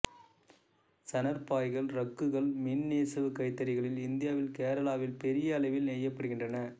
சணற் பாய்கள் ரக்குகள் மின் நெசவு கைத்தறிகளில் இந்தியாவின் கேராளாவில் பெரிய அளவில் நெய்யப்படுகின்றன